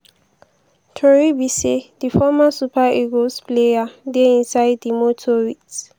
tori be say di former super eagles player dey inside di motor wit